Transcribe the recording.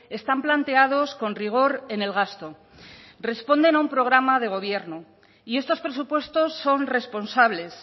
están planteados con rigor en el gasto responden a un programa de gobierno y estos presupuestos son responsables